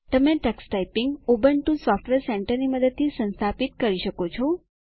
તમે Tux typing Ubuntu software સેન્ટરની મદદથી સંસ્થાપિત કરી શકો છો